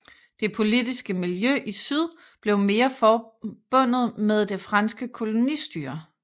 Det politiske miljø i syd blev mere forbundet med det franske kolonistyre